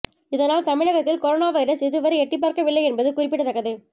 இதனால் தமிழகத்தில் corona virus இதுவரை எட்டிப் பார்க்கவில்லை என்பது குறிப்பிடத்தக்கது